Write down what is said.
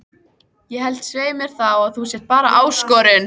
Ég held svei mér þá að þú sért bara ÁSKORUN